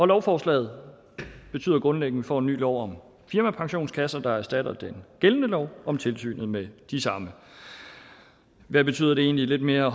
lovforslaget betyder grundlæggende får en ny lov om firmapensionskasser der erstatter den gældende lov om tilsynet med de samme hvad betyder det egentlig lidt mere